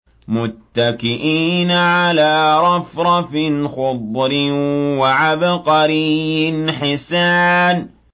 مُتَّكِئِينَ عَلَىٰ رَفْرَفٍ خُضْرٍ وَعَبْقَرِيٍّ حِسَانٍ